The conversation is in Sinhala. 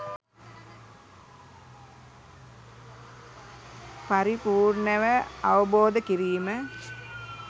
පරිපූර්ණව අවබෝධ කිරීම.